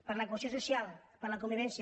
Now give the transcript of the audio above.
per la cohesió social per la convivència